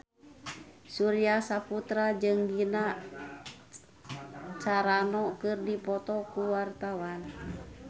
Surya Saputra jeung Gina Carano keur dipoto ku wartawan